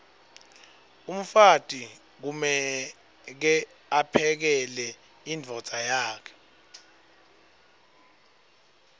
umfati kumeke aphekele imdvodza yakhe